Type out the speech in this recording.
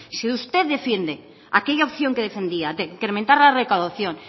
si usted defiende aquella opción que defendía de incrementar la recaudación